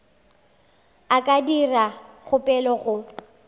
a ka dira kgopelo go